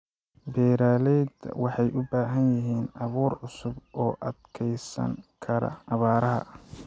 Beeralayda waxay u baahan yihiin abuur cusub oo u adkeysan kara abaaraha.